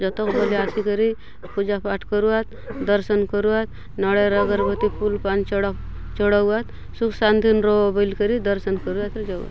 पूजा पाठ करुआतदर्शन करुआतनारियल अगरबती फूल पान चड़ा चड़ाउआत सुख शांति ने रहो बली करि दर्शन करुआत आउर जाऊआत ।